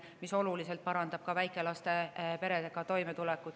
See ka oluliselt parandab väikelastega perede toimetulekut.